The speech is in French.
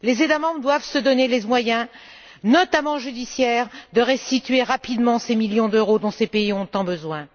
Les États membres doivent se donner les moyens, notamment judiciaires, de restituer rapidement ces millions d'euros, sommes dont ces pays ont tant besoin.